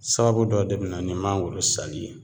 Sababu dɔ de be na ni mangoro sali ye